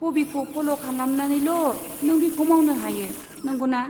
हबिखौ फल' खालामनानैल' नों बेखौ मावनो हायो, नंगौना?